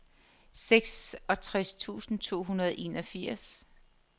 seksogtres tusind to hundrede og enogfirs